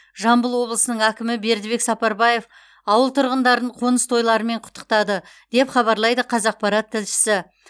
жамбыл облысының әкімі бердібек сапарбаев ауыл тұрғындарын қоныс тойларымен құттықтады деп хабарлайды қазақпарат тілшісі